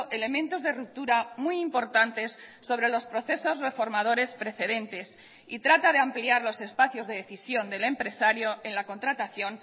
elementos de ruptura muy importantes sobre los procesos reformadores precedentes y trata de ampliar los espacios de decisión del empresario en la contratación